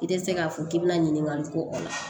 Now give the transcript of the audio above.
I tɛ se k'a fɔ k'i bɛna ɲininkali kɛ o la